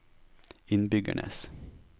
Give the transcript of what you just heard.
innbyggernes